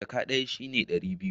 Jaka ɗaya shi ne ɗari biyu